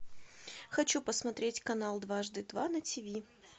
хочу посмотреть канал дважды два на тв